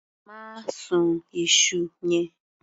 Má sun iṣu yẹn.